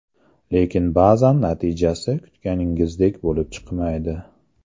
Lekin ba’zan natijasi kutganingizdek bo‘lib chiqmaydi.